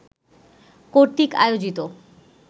কর্তৃক আয়োজিত